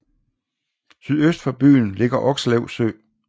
Sydøst for byen ligger Okslev Sø